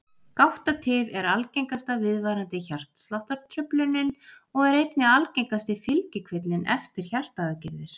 Gáttatif er algengasta viðvarandi hjartsláttartruflunin og er einnig algengasti fylgikvillinn eftir hjartaaðgerðir.